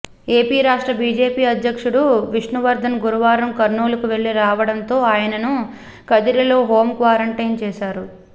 AP రాష్ట్ర BJP ఉపాధ్యక్షుడు విష్ణువర్ధన్ గురువారం కర్నూలుకు వెళ్లి రావడంతో ఆయనను కదిరిలో హోమ్ క్వారంటైన్ చేశారు